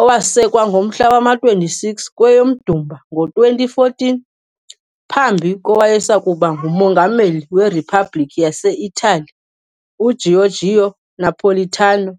owasekwa ngomhla wama-26 kweyoMdumba ngo-2014 phambi kowayesakuba nguMongameli weRiphabhliki yase-Itali UGiorgio Napolitano.